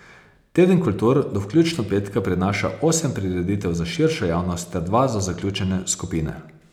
Teden kultur do vključno petka prinaša osem prireditev za širšo javnost ter dva za zaključene skupine.